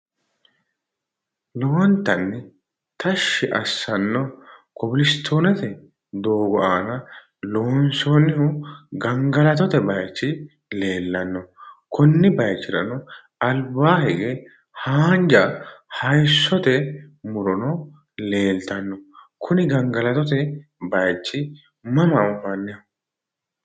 Lowontanni tashshi assanno kobilistoonete doogo aana loonsoonnihu gamgalatote bayichi leellanno. Konni bayichirano dumbaa hige haanja hayissote murono leeltanno. Kuni gangalatote bayichi mama anfanniho?